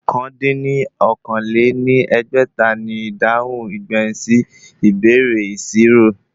Ọ̀kan dín ní okòó-lé-ní-ẹgbẹ́ta ni ìdáhùn ìgbẹ̀yìn sí ìbéèrè ìṣirò